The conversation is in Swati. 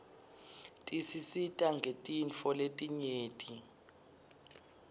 tisisita ngetintfo letinyeti